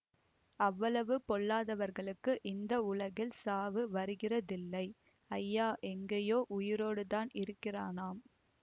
அவ்வளவு பொல்லாதவர்களுக்கு இந்த உலகில் சாவு வருகிறதில்லை ஐயா எங்கேயோ உயிரோடு தான் இருக்கிறானாம்